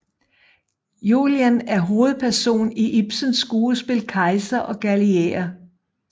Julian er hovedperson i Ibsens skuespil Kejser og galilæer